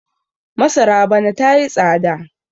masara bana ta yi tsada